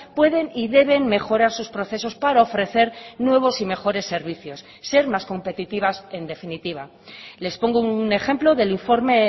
pueden y deben mejorar sus procesos para ofrecer nuevos y mejores servicios ser más competitivas en definitiva les pongo un ejemplo del informe